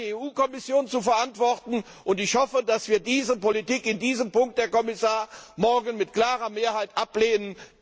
Die hat die EU Kommission zu verantworten, und ich hoffe, dass wir diese Politik in diesem Punkt, Herr Kommissar, morgen mit klarer Mehrheit ablehnen.